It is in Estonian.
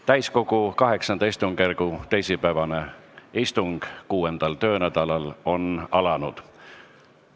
Täiskogu VIII istungjärgu teisipäevane istung 6. töönädalal on alanud.